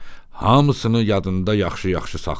Hamısını yadında yaxşı-yaxşı saxla.